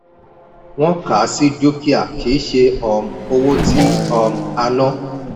wọ́n kà á sí dúkìá kì í ṣe um owó tí um a ná.